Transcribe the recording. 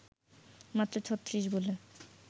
মাত্র ৩৬ বলে